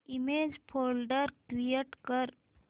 image folder create कर